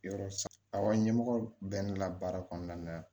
Yɔrɔ aw ɲɛmɔgɔ bɛ ne la baara kɔnɔna na